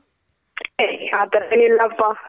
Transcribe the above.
ಏ ಆ ತರ ಎಲ್ಲ ಏನಿಲಪ್ಪ.